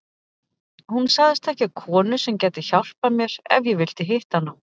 Hún sagðist þekkja konu sem gæti hjálpað mér ef ég vildi hitta hana.